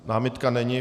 Námitka není.